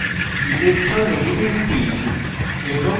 family electro negetivity electronegativity এবং